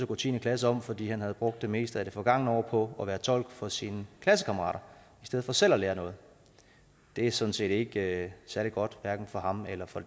gå tiende klasse om fordi han havde brugt det meste af det forgangne år på at være tolk for sine klassekammerater i stedet for selv at lære noget det er sådan set ikke særlig godt hverken for ham eller for